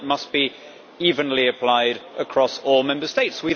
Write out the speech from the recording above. that must be evenly applied across all Member States.